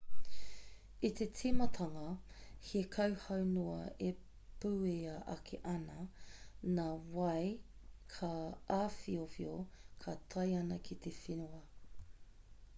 i te tīmatanga he kauhau noa e puea ake ana nā wai ka āwhiowhio ka tae ana ki te whenua